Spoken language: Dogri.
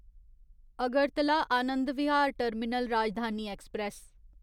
Agartala Anand Vihar terminal Rajdhani express